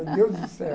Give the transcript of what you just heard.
Meu Deus do céu.